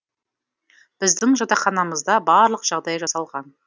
біздің жатақханамызда барлық жағдай жасалған